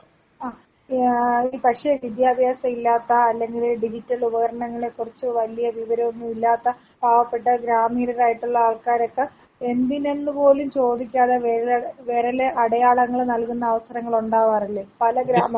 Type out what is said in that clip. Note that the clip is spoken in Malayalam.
ആ ഏ പക്ഷെ വിദ്യഭ്യാസല്ലാത്ത അല്ലെങ്കില് ഡിജിറ്റൽ ഉപകരണങ്ങളെ കുറിച്ച് വലിയ വിവരൊന്നും ഇല്ലാത്ത പാവപ്പെട്ട ഗ്രാമീണരായിട്ടുള്ള ആള് ക്കാരൊക്കെ എന്തിനെന്ന് പോലും ചോദിക്കാതെ വെരല് വെരലടയാളങ്ങള് നൽകുന്ന അവസരങ്ങുളുണ്ടാവാറില്ലെ പല ഗ്രാമങ്ങളിലും.